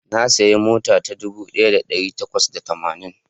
Na sayi mota ta dubu daya da dari takwas da tamanin